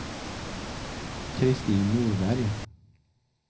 Kristin Norberg